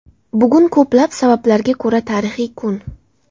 Bugun ko‘plab sabablarga ko‘ra tarixiy kun.